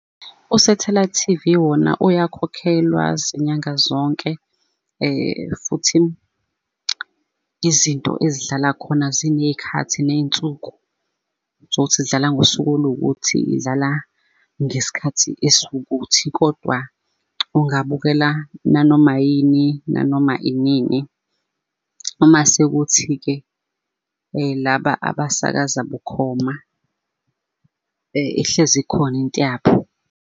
U-satellite T_V wona uyakhokhelwa zinyanga zonke, futhi izinto ezidlala khona ziney'khathi ney'nsuku zokuthi zidlala ngosuku oluwukuthi idlala, ngesikhathi esiwukuthi kodwa ungabukela nanoma yini nanoma iningi. Uma sekuthi-ke laba abasakaza bukhoma ihlezi ikhona into yabo.